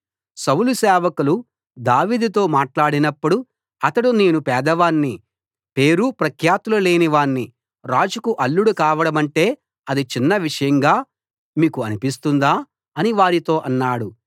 సౌలు సేవకులు దావీదుతో మాట్లాడినప్పుడు అతడు నేను పేదవాణ్ణి పేరు ప్రఖ్యాతులు లేనివాణ్ణి రాజుకు అల్లుడు కావడమంటే ఆది చిన్న విషయంగా మీకు అనిపిస్తుందా అని వారితో అన్నాడు